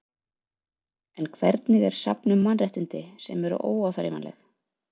En hvernig er safn um mannréttindi, sem eru óáþreifanleg?